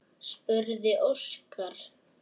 spurði Óskar.